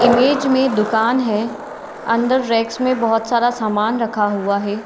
Image मे दुकान है। अंदर रैक्स मे बोहोत सारा सामान रखा हुआ है।